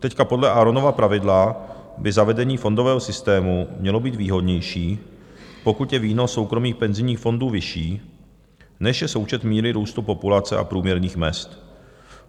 Teď podle Aaronova pravidla by zavedení fondového systému mělo být výhodnější, pokud je výnos soukromých penzijních fondů vyšší, než je součet míry růstu populace a průměrných mezd.